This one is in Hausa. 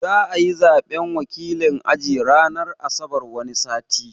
Za'ayi Zaɓen wakilin aji ranar asabar wani sati